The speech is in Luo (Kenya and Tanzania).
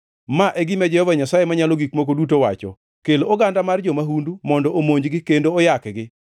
“Ma e gima Jehova Nyasaye Manyalo Gik Moko Duto wacho: Kel oganda mar jo-mahundu mondo omonj-gi kendo oyakgi.